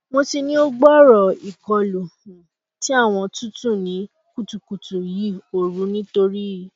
mo ti ni o gbooro ikolu um ti awọn tutu ni kutukutu yi ooru nitori